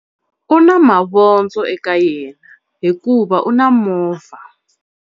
U na mavondzo eka yena hikuva u na movha.